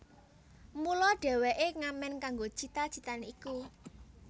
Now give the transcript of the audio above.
Mula dheweke ngamen kanggo cita citane iku